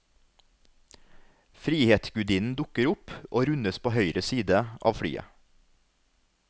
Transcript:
Frihetsgudinnen dukker opp og rundes på høyre side av flyet.